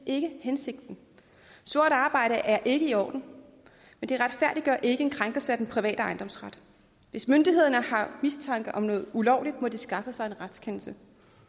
ikke hensigten sort arbejde er ikke i orden men det retfærdiggør ikke en krænkelse af den private ejendomsret hvis myndighederne har mistanke om noget ulovligt må de skaffe sig en retskendelse